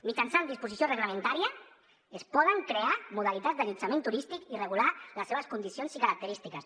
mitjançant disposició reglamentària es poden crear modalitats d’allotjament turístic i regular les seves condicions i característiques